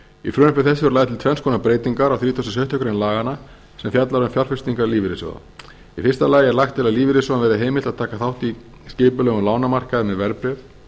frumvarpi þessu er lagðar til tvenns konar breytingar á þrítugasta og sjöttu grein laganna sem fjalla sem fjalla um fjárfestingar lífeyrissjóða í fyrsta lagi er lagt til að lífeyrissjóðum verði heimilt að taka þátt í skipulegum lánamarkaði með verðbréf